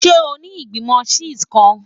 Ṣe o ni Igbimọ Chess kan?